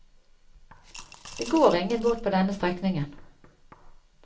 Det går ingen båt på denne strekningen.